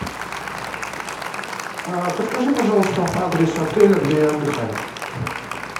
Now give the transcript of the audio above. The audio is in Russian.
подскажи пожалуйста адрес отеля где я отдыхаю